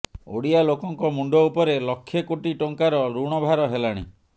ଓଡିଆ ଲୋକଙ୍କ ମୁଣ୍ଡ ଉପରେ ଲକ୍ଷେ କୋଟି ଟଙ୍କାର ଋଣ ଭାର ହେଲାଣି